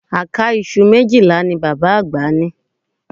Àká iṣu méjìlá ni bàbá àgbà ní